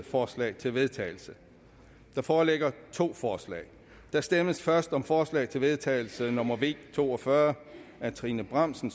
forslag til vedtagelse der foreligger to forslag der stemmes først om forslag til vedtagelse nummer v to og fyrre af trine bramsen